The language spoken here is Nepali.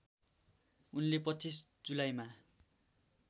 उनले २५ जुलाईमा